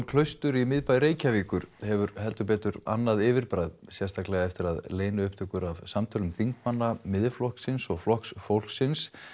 Klaustur í miðbæ Reykjavíkur hefur heldur betur annað yfirbragð sérstaklega eftir að leyniupptökur af samtölum þingmanna Miðflokksins og Flokks fólksins